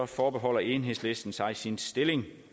forbeholder enhedslisten sig sin stilling